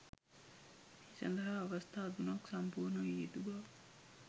මේ සඳහා අවස්ථා තුනක් සම්පූර්ණ විය යුතු බව